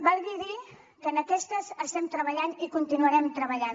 valgui dir que en aquestes estem treballant i hi continuarem treballant